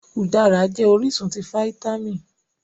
Udárá jẹ́ orísun ti fáítámì